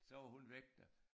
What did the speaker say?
Så var hun væk der